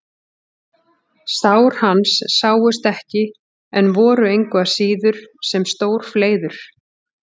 Sár hans sáust ekki en voru engu að síður sem stór fleiður.